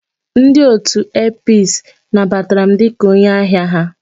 Ndi otu Airpeace nabatara m dị ka onye ahia ha.